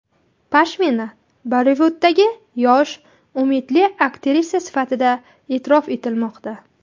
Pashmina Bollivuddagi yosh, umidli aktrisa sifatida e’tirof etilmoqda.